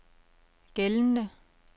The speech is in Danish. gældende